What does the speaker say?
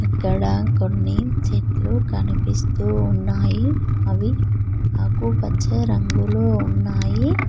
ఇక్కడ కొన్ని చెట్లు కనిపిస్తూ ఉన్నాయి అవి ఆకుపచ్చ రంగులో ఉన్నాయి.